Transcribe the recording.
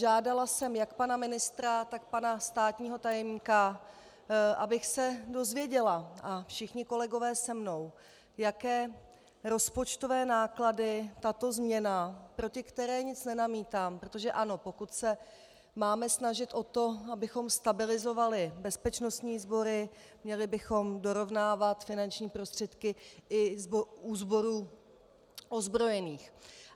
Žádala jsem jak pana ministra, tak pana státního tajemníka, abych se dozvěděla, a všichni kolegové se mnou, jaké rozpočtové náklady tato změna - proti které nic nenamítám, protože ano, pokud se máme snažit o to, abychom stabilizovali bezpečnostní sbory, měli bychom dorovnávat finanční prostředky i u sborů ozbrojených.